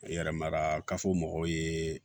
Yɛrɛmara kafo mɔgɔ ye